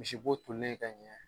Misi bo tolilen ka ɲɛ.